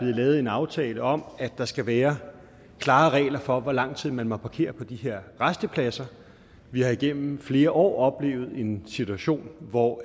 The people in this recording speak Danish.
lavet en aftale om at der skal være klare regler for hvor lang tid man må parkere på de her rastepladser vi har igennem flere år oplevet en situation hvor